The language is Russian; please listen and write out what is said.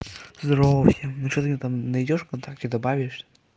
здорово всем ну что там найдёшь вконтакте добавишь